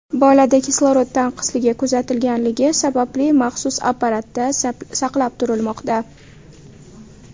Bolada kislorod tanqisligi kuzatilganligi sababli maxsus apparatda saqlab turilmoqda.